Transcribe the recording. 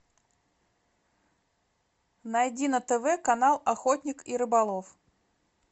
найди на тв канал охотник и рыболов